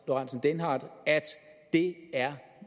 lorentzen dehnhardt at det er